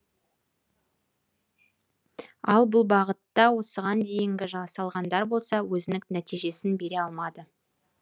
ал бұл бағытта осыған дейінгі жасалғандар болса өзінік нәтижесін бере алмады